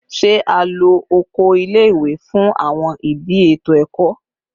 Ṣe a lo oko ile-iwe fun awọn idi eto ẹkọ?